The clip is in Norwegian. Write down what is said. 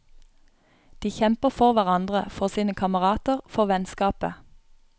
De kjemper for hverandre, for sine kamerater, for vennskapet.